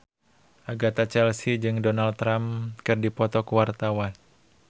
Agatha Chelsea jeung Donald Trump keur dipoto ku wartawan